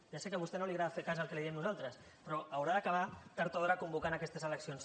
ja sé que a vostè no li agrada fer cas del que li diem nosaltres però haurà d’acabar tard o d’hora convocant aquestes eleccions